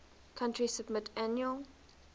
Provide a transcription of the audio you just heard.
country submit annual